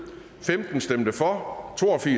for